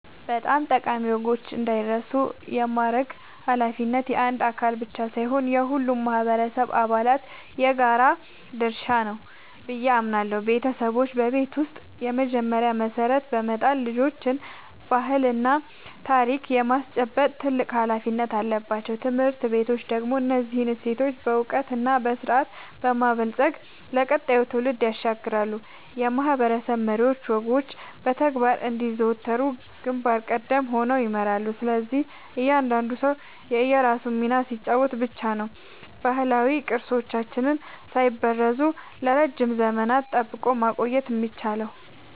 ጠቃሚ ወጎች እንዳይረሱ የማድረግ ኃላፊነት የአንድ አካል ብቻ ሳይሆን የሁሉም ማህበረሰብ አባላት የጋራ ድርሻ ነው ብዬ አምናለሁ። ቤተሰቦች በቤት ውስጥ የመጀመሪያውን መሰረት በመጣል ልጆችን ባህልና ታሪክ የማስጨበጥ ትልቅ ኃላፊነት አለባቸው። ትምህርት ቤቶች ደግሞ እነዚህን እሴቶች በዕውቀትና በስርዓት በማበልጸግ ለቀጣዩ ትውልድ ያሸጋግራሉ፤ የማህበረሰብ መሪዎችም ወጎቹ በተግባር እንዲዘወተሩ ግንባር ቀደም ሆነው ይመራሉ። ስለዚህ እያንዳንዱ ሰው የራሱን ሚና ሲጫወት ብቻ ነው ባህላዊ ቅርሶቻችንን ሳይበረዙ ለረጅም ዘመናት ጠብቆ ማቆየት የሚቻለው።